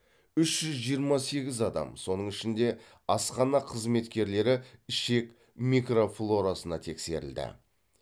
үш жүз жиырма сегіз адам соның ішінде асхана қызметкерлері ішек микрофлорасына тексерілді